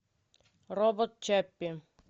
робот чаппи